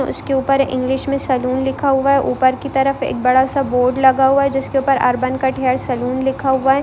उसके ऊपर इंग्लिश में सलून लिखा हुआ है ऊपर की तरफ एक बड़ा सा बोर्ड लगा हुआ है जिसके ऊपर अर्बन कट हेयर सलून लिखा हुआ है।